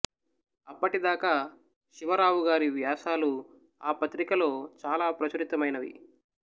ఆప్పటి దాకా శివరావుగారి వ్యాసాలు ఆ పత్రికలో చాల ప్రచురితమైనవి